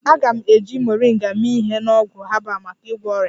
A ga-eji Moringa mee ihe na ọgwụ herbal maka ịgwọ ọrịa